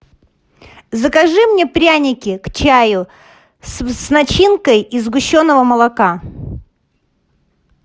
закажи мне пряники к чаю с начинкой из сгущенного молока